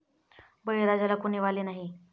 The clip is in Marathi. बळीराजाला कुणी वाली नाही!